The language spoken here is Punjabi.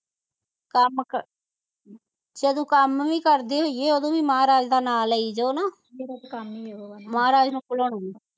ਕੰਮ ਕਿ ਚਲੋ ਕੰਮ ਵੀ ਕਰਦੇ ਹੋਇਏ ਉਦੋ ਵੀ ਮਹਾਰਾਜ ਦਾ ਨਾਮ ਲਈ ਜੋ ਨਾ ਮਹਾਰਾਜ ਨੂੰ